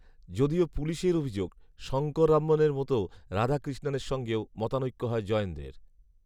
যদিও পুলিশের অভিযোগ, শঙ্কররামনের মতো রাধাকৃষ্ণনের সঙ্গেও মতানৈক্য হয় জয়েন্দ্রের